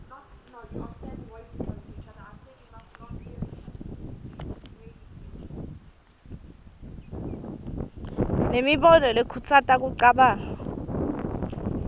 nemibono lekhutsata kucabanga